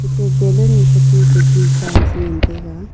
tu balloon katua kagi Sam sengan taiga.